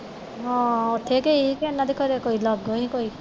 ਹਾਂ ਉੱਥੇ ਗਈ ਸੀ ਕਿ ਓਹਨਾ ਦੇ ਘਰਿਓਂ ਕੋਈ ਲਾਗੋਂ ਹੀ ਕੋਈ